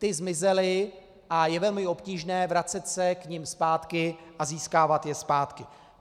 Ty zmizely a je velmi obtížné vracet se k nim zpátky a získávat je zpátky.